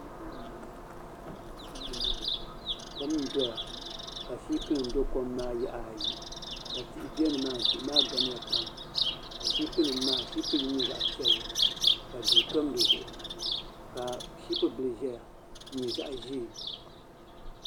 Kom n doya ka shipi nim bɛ kom maa yaɣa ayi ka tihi bɛ nimaa ni tihi maa gamya pam ka shipi nim maa shiipi yini nyɛ zaɣ piɛlli ka duu tom di zuɣu ka shiipi bili ʒɛya n nyɛ zaɣ ʒiɛ